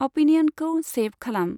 अपिनियनखौ सैभ खालाम।